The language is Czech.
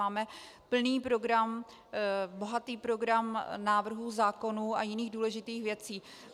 Máme plný program, bohatý program návrhů zákonů a jiných důležitých věcí.